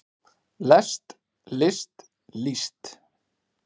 lest list líst